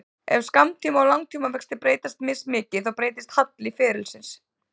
Ef skammtíma- og langtímavextir breytast mismikið þá breytist halli ferilsins.